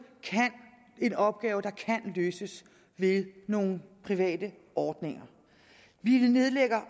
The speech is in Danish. er en opgave der kan løses ved nogle private ordninger vi nedlægger